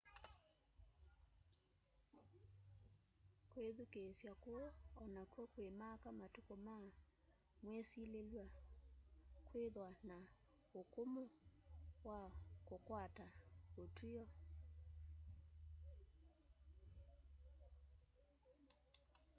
kwithukiisya kuu onakw'o kwimaka matuku ma mwisililw'a kwithwa na ukumu wa kukwata utwio